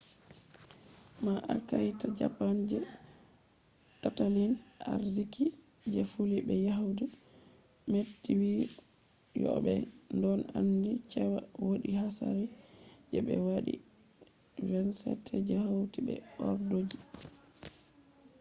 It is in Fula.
ma’aikata japan’s je tattalin arziki je fillu be yahdu meti wi'i yo'o ɓe ɗon aandi cewa wodi hasari je be wadi 27 je hauti be ordoji